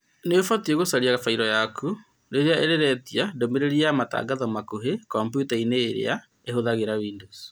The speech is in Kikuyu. Nĩubatie gũcaria fairo yaku, rĩrĩa rĩretia ndũmĩrĩri ya matangatho makuhĩ kompyuta-inĩ irĩa ihũthagĩra Windows.